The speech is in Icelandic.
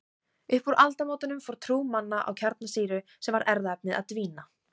Upp úr aldamótunum fór trú manna á kjarnsýru sem erfðaefni að dvína.